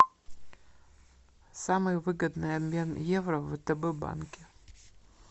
самый выгодный обмен евро в втб банке